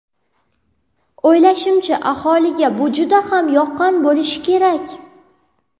O‘ylashimcha, aholiga bu juda ham yoqqan bo‘lishi kerak.